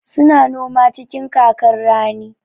Su na noma cikin kakar rani.